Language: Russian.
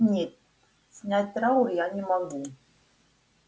нет снять траур я не могу